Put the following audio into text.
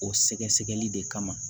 O sɛgɛsɛgɛli de kama